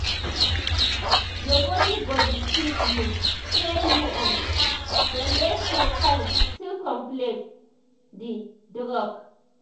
your body go deceive you say you um don dey feel fine still complete di um drug